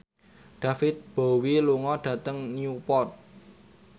David Bowie lunga dhateng Newport